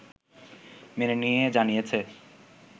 মেনে নিয়ে জানিয়েছে